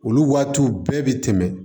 Olu waatiw bɛɛ bɛ tɛmɛ